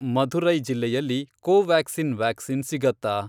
ಮಧುರೈ ಜಿಲ್ಲೆಯಲ್ಲಿ Covaxin vaccine ಸಿಗತ್ತಾ?